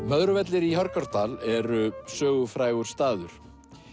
Möðruvellir í Hörgárdal eru sögufrægur staður